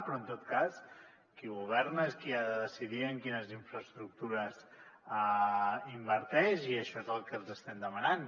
però en tot cas qui governa és qui ha de decidir en quines infraestructures inverteix i això és el que els estem demanant